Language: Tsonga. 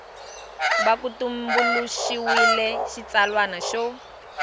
va ku tumbuluxiwile xitsalwana xo